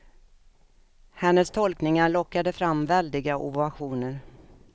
Hennes tolkningar lockade fram väldiga ovationer.